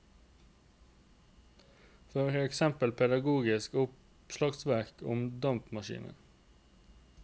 For eksempel pedagogiske oppslagsverk om dampmaskiner.